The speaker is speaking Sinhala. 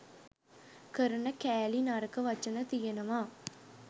කරන කෑලි නරක වචන තියෙනවා